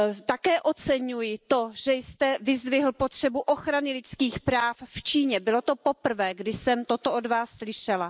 Také oceňuji to, že jste vyzdvihl potřebu ochrany lidských práv v Číně, bylo to poprvé, kdy jsem toto od Vás slyšela.